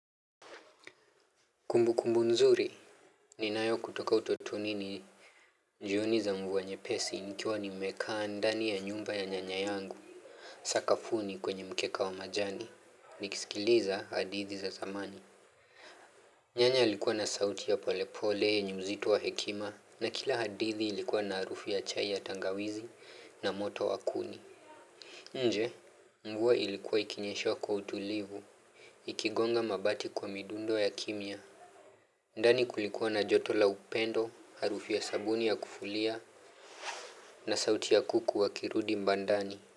Kumbu kumbu nzuri. Ninayo kutoka utotoni ni jioni za mvua nyepesi nikiwa nimekaa ndani ya nyumba ya nyanya yangu. Sakafuni kwenye mkeka wa majani nikisikiliza hadithi za zamani. Nyanya alikuwa na sauti ya polepole yenye uzitu wa hekima na kila hadithi ilikuwa na arufu ya chai ya tangawizi na moto wa kuni. Nje mvua ilikuwa ikinyesha kwa utulivu ikigonga mabati kwa midundo ya kimya. Ndani kulikuwa na joto la upendo, harufu ya sabuni ya kufulia na sauti ya kuku wakirudi mbandani.